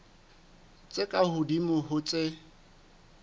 tse ka hodimo ho tse